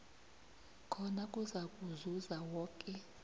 khona kuzakuzuza woke